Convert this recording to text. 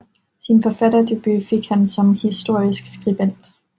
Sin forfatterdebut fik han som historisk skribent